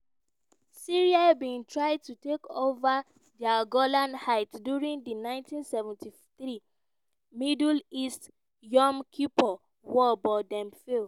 syria bin try to take ova di golan heights during di 1973 middle east (yom kippur) war but dem fail.